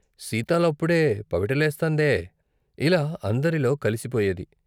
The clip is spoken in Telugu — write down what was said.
సీతాలప్పుడే పవిటలేస్తందే ఇలా అందరిలో కలిసిపోయేది.